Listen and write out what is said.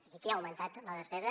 i qui ha augmentat la despesa